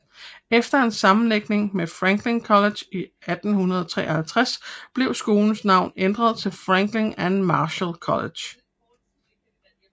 Efter en sammenlægning med Franklin College i 1853 blev skolens navn ændret til Franklin and Marshall College